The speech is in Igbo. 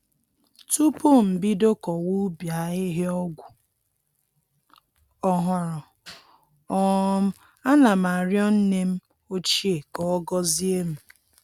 Tupu m bido kọwa ubi ahịhịa ọgwụ ọhụrụ, um ana m arịọ nne m ochie ka ọ gọzie m